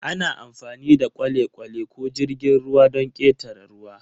Ana amfani da kwale-kwale ko jirgin ruwa don ƙetare ruwa.